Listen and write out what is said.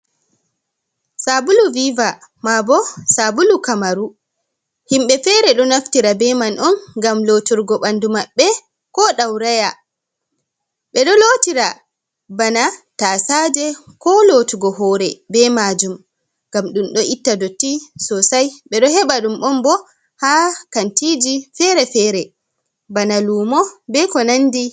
sabulu viva, ma bo sabulu kamaru, himbe fere do naftira be man on, gam loturgo bandu maɓbe, ko dauraya .be do lotira bana tasade ko lotugo hore be majum, ngam dum do itta dotti sosai, bedo heba dum bo ha kantiji fere-fere bana lumo be ko nandi.